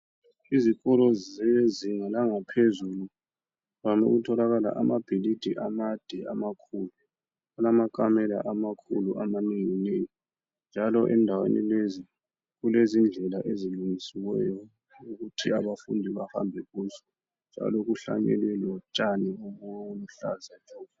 Izikolo zezinga langaphezulu kuvame ukutholakala amabhilidi amade amakhulu alamakamela amakhulu amanengi nengi njalo endaweni lezi kulezindlela ezilungisiweyo ukuthi abafundi bahambe kuhle njalo kuhlanyelwe lotshani obuluhlaza tshoko.